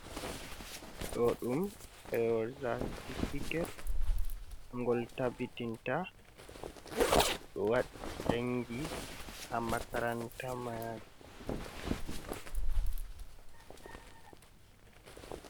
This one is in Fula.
Ɗo ɗum ɗerowol satifiket. Gol tabbitinta goɗɗo waɗi jangi ha makaranta ma.